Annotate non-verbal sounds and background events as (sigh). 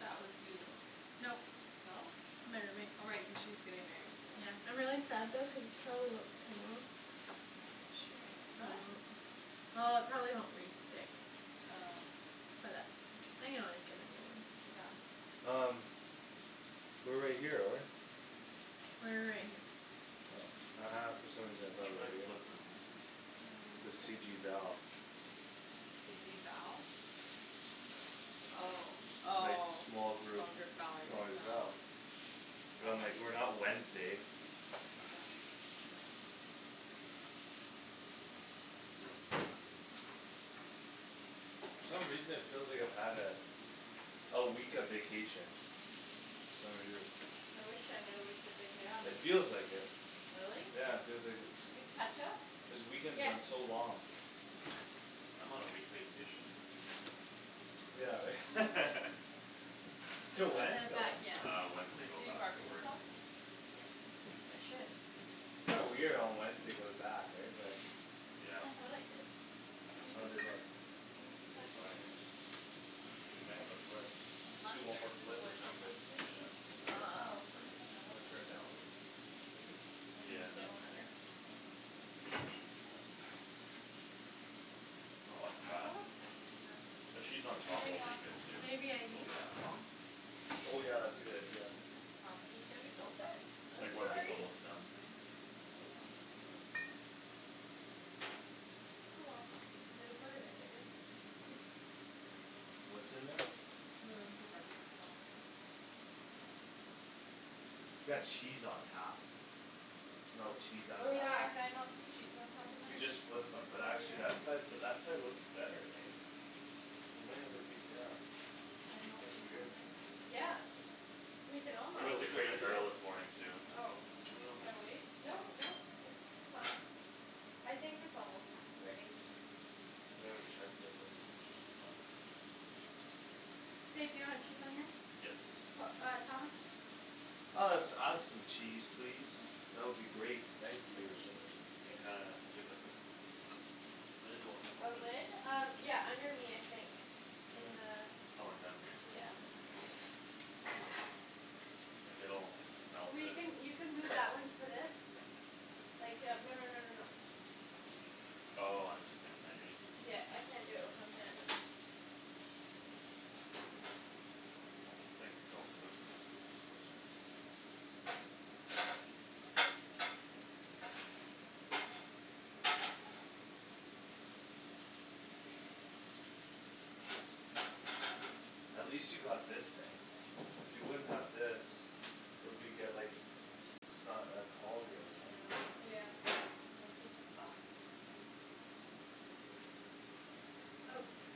That was you though. Nope, No? my roommate. Oh, right, cuz she's getting married too. Yeah, I'm really sad though cuz this probably won't come off. She'll No? (inaudible) well. It probably won't re-stick. Oh. But that's okay. I can always get a new one. Yeah. Um we're right here though, right? We're right here. Oh ha ha, for some reason I thought we Should I were here. flip them in? This K. C G Val. C G Val? Oh, Like oh, small small group, group Valerie, small group Val. no. But I'm like, Might "We're be. not Wednesday." (inaudible) For some reason it feels like I've had a A week of vacation. Kinda weird. I wish I had a week of Yeah, me It vacation. too. feels like it. Really? Yeah, it feels like a Do you have ketchup? This weekend's Yes. gone so long. I'm on a week vacation. Yeah, right? (laughs) (laughs) This Till In one? when? the Till back, when? yeah. Uh, Wednesday go Do you back to barbecue work. sauce? Wednesday. Yes, I should. Kinda weird on Wednesday go to back, right? But Yeah. I thought I did. Maybe. How'd they look? Maybe it's They look back fine, there? right? Oh, we may I have to see. flip. Do one more Mustard, do the flip or boys like something. mustard? Eh? Oh, here's (noise) You another wanna try to ketchup. download this, maybe? Which Yeah. Yeah. one's newer? Doesn't matter. Uh Not looking I bad. thought I had some The barbecue cheese on sauce. top will be Teriyaki good too. Maybe I It'll Yeah. melt used it it. all. Oh yeah, that's a good idea. Thomas is gonna be so upset. I'm Like once Just it's sorry. kidding. almost done. Oh well. Oh, well. It is what it is, I guess. What's in there? We were looking for barbecue sauce. Got cheese on top. Melt cheese on Oh, Oh, top. yeah, yeah. can I melt some cheese on top of We mine? just flipped them. Oh But we actually that did. side, but that side looks better, hey? We might have to keep, yeah. Can I melt That's cheese weird. on Um mine? yeah, we can all We Well, went to is it Crate and ready yet? Barrel this (inaudible) morning too. Oh, I dunno if we should I should, wait? I Nope, dunno nope, it's fine. I think it's almost ready. We haven't checked it but I think it should be fine. Babe, do you want cheese on yours? Yes. P- uh Thomas? Uh let's add some cheese, please. (noise) That would be great, thank Some you. cheese, We kinda, please. do you have like those Lid will A help it. lid? Um, yeah, under me I think. In Un- oh, in down here? the, yeah. Like, it'll melt We it. can, you can move that one to this. Like, yeah, no no no no no. Oh, um the same time, you mean? Yeah, I can't do it with one hand. This thing's so flimsy. That's good. At least you got this thing. If you wouldn't have this It'll be get, like, just not that tall here, you know? Yeah. Yeah. This is fucked. (noise)